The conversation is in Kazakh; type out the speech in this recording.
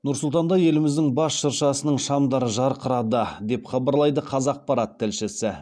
нұр сұлтанда еліміздің бас шыршасының шамдары жарқырады деп хабарлайды қазақпарат тілшісі